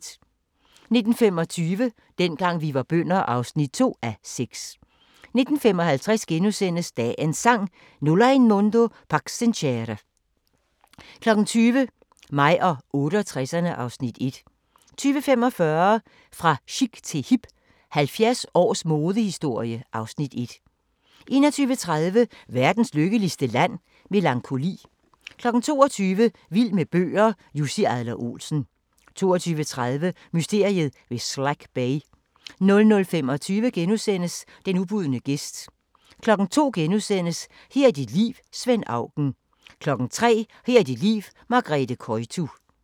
19:25: Dengang vi var bønder (2:6) 19:55: Dagens Sang: Nulla in mundo pax sincere * 20:00: Mig og 68'erne (Afs. 1) 20:45: Fra chic til hip – 70 års modehistorie (Afs. 1) 21:30: Verdens lykkeligste Land? – Melankoli 22:00: Vild med bøger: Jussi Adler-Olsen 22:30: Mysteriet ved Slack Bay 00:25: Den ubudne gæst * 02:00: Her er dit liv – Svend Auken * 03:00: Her er dit liv – Margrethe Koytu